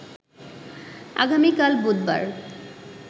আগামিকাল বুধবার